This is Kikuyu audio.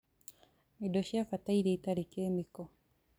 Indo cia bata iria itarĩ kĩmĩko